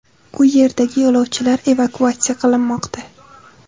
U yerdagi yo‘lovchilar evakuatsiya qilinmoqda.